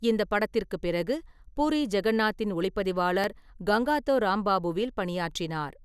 இந்த படத்திற்குப் பிறகு, பூரி ஜெகன்நாத்தின் ஒளிப்பதிவாளர் கங்காதோ ராம்பாபுவில் பணியாற்றினார்.